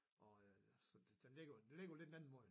Og øh så den ligger den ligger jo lidt mellem måde